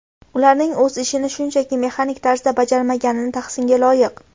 Ularning o‘z ishini shunchaki mexanik tarzda bajarmagani tahsinga loyiq.